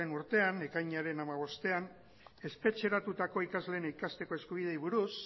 urtean ekainaren hamabostean espetxeratutako ikasleen ikasteko eskubideei buruz